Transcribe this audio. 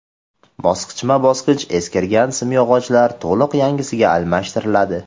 Bosqichma-bosqich eskirgan simyog‘ochlar to‘liq yangisiga almashtiriladi.